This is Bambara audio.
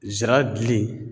Zira gili